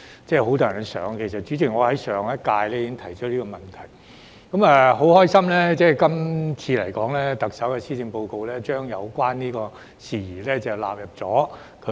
主席，其實我在上屆立法會已經提出這問題，我很高興特首今年的施政報告將有關事宜納入為一